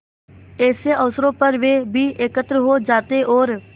ऐसे अवसरों पर वे भी एकत्र हो जाते और